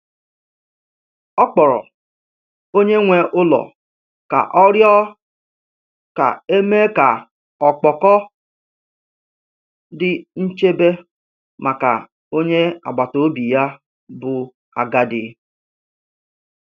Ọ kpọrọ onye nwe ụlọ ka ọ rịọ ka e mee ka ọkpọkọ di nchebe maka onye agbata obi ya bụ agadi.